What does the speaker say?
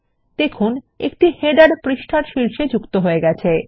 দেখুন একটি শিরোলেখ পৃষ্ঠার শীর্ষে যোগ হয়ে গেছে